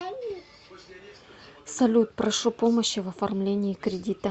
салют прошу помощи в оформлении кредита